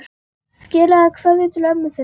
Skilaðu kveðju til ömmu þinnar.